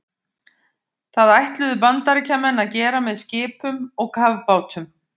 Það ætluðu Bandaríkjamenn að gera með skipum og kafbátum.